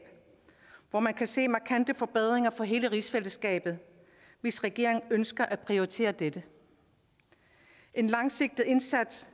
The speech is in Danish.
hvor man kan se markante forbedringer for hele rigsfællesskabet hvis regeringen ønsker at prioritere dette en langsigtet indsats